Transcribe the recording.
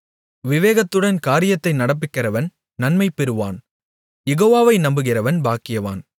விவேகத்துடன் காரியத்தை நடப்பிக்கிறவன் நன்மை பெறுவான் யெகோவாவை நம்புகிறவன் பாக்கியவான்